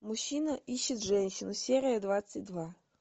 мужчина ищет женщину серия двадцать два